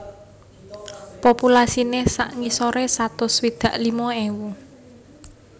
Populasiné sak ngisoré satus swidak limo ewu